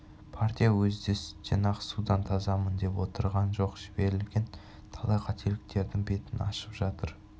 партия өзі де сүттен ақ судан тазамын деп отырған жоқ жіберілген талай қателіктердің бетін ашып жатыр